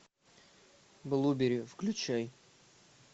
блуберри включай